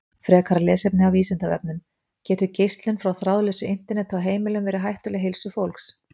Frekara lesefni af Vísindavefnum: Getur geislun frá þráðlausu Interneti á heimilum verið hættuleg heilsu fólks?